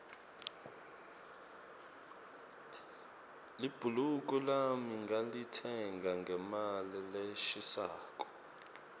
libhuluko lami ngilitsenge ngemali leshisako